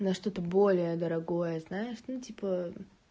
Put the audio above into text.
на что-то более дорогое знаешь ну типа